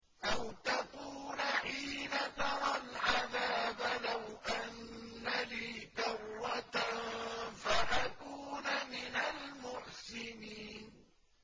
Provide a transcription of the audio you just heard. أَوْ تَقُولَ حِينَ تَرَى الْعَذَابَ لَوْ أَنَّ لِي كَرَّةً فَأَكُونَ مِنَ الْمُحْسِنِينَ